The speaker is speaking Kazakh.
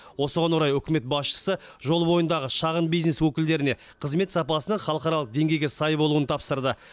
осыған орай үкімет басшысы жол бойындағы шағын бизнес өкілдеріне қызмет сапасының халықаралық деңгейге сай болуын тапсырды